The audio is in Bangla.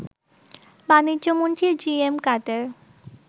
বাণিজ্যমন্ত্রী জি এম কাদের